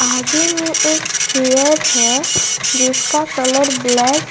आगे में एक चेयर है जिसका कलर ब्लैक --